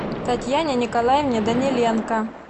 татьяне николаевне даниленко